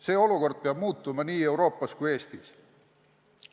See olukord peab muutuma nii Euroopas kui ka Eestis.